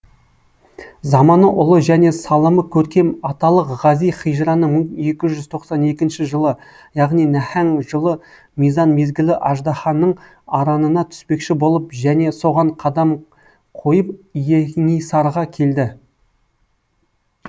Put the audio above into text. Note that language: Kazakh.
заманы ұлы және салымы көркем аталық ғази хижраның мың екі жүз тоқсан екінші жылы яғни нәһәң жылы мизан мезгілі аждаһаның аранына түспекші болып және соған қадам қойып и еңисарға келді